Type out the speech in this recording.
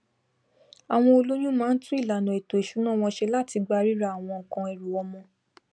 àwọn olóyún má tún ìlànà èto ìsúná wọn se láti gba ríra àwọn nkan ẹrù ọmọ